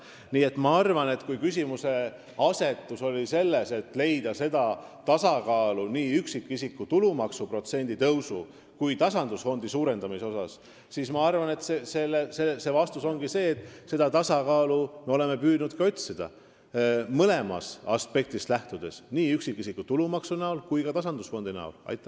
Nii et kui küsimuseasetus oli selline, kuidas leida tasakaalu nii üksikisiku tulumaksu protsendi tõusu kui ka tasandusfondi suurendamise koha pealt, siis vastus ongi see, et me oleme püüdnud seda tasakaalu otsida, lähtudes mõlemast aspektist, nii üksikisiku tulumaksust kui ka tasandusfondist.